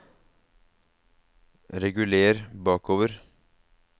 reguler bakover